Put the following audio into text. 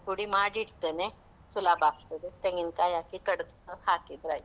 ಪುಡಿ ಮಾಡಿ ಇಡ್ತೇನೆ, ಸುಲಭ ಆಗ್ತದೆ ತೆಂಗಿನ ಕಾಯಿ ಹಾಕಿ ಕಡ್ದು ಹಾಕಿದ್ರೆ ಆಯ್ತು.